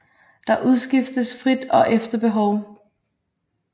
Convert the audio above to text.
Der udskiftes frit og efter behov